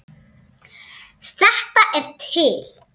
Þetta er til.